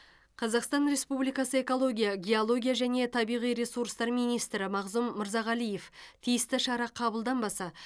қазақстан республикасы экология геология және табиғи ресурстар министрі мағзұм мырзағалиев тиісті шара қабылданбаса